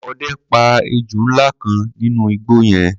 Ọdẹ pa ejò ńlá kan nínú igbó yẹn.